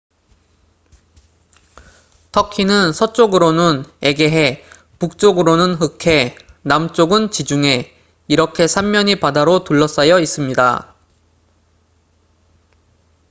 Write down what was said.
터키는 서쪽으로는 에게해 북쪽으로는 흑해 남쪽은 지중해 이렇게 3면이 바다로 둘러싸여 있습니다